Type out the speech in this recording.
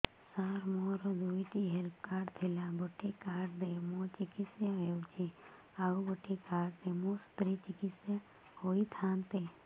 ସାର ମୋର ଦୁଇଟି health card ଥିଲା ଗୋଟେ କାର୍ଡ ରେ ମୁଁ ଚିକିତ୍ସା ହେଉଛି ଆଉ ଗୋଟେ କାର୍ଡ ରେ ମୋ ସ୍ତ୍ରୀ ଚିକିତ୍ସା ହୋଇଥାନ୍ତେ